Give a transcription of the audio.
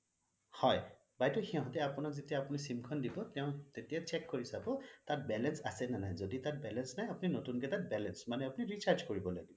হয় বাইদেউ সিহঁতে আপোনাৰ যেতিয়া sim খন দিব তেওঁ তেতিয়া check কৰি চাব তাত balance আছে নে নাই যদি তাত balance নাই আপুনি তাত নতুনকে তাত balance মানে আপুনি তাত recharge কৰিব লাগিব